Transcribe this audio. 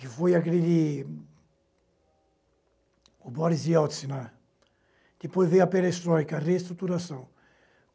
que foi a grande Boris Yeltsin, depois veio a perestroika, a reestruturação.